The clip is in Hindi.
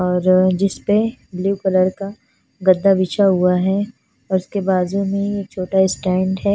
और जिसपे ब्लू कलर का गद्दा बिछा हुआ है और उसके बाजू में ही एक छोटा स्टंड है।